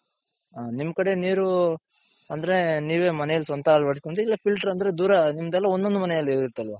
ಹ ನಿಮ್ ಕಡೆ ನೀರು ಅಂದ್ರೆ ನೀವೇ ಮನೇಲಿ ಸ್ವಂತ ಅಳವಡಿಸ್ಕೊಂತಿರ ಇಲ್ಲ filter ಅಂದ್ರೆ ನಿಮ್ದೆಲ್ಲ ಒಂದೊಂದ್ ಮನೆಲಿರುತ್ತಲ್ವ